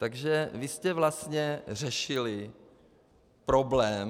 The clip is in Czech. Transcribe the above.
Takže vy jste vlastně řešili problém...